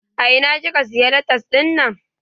A ina kika siya latas dinnan?